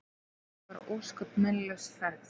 Þetta var ósköp meinlaus ferð.